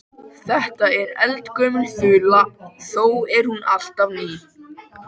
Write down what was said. Þetta er eldgömul þula þó er hún alltaf ný.